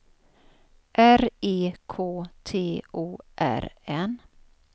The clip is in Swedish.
R E K T O R N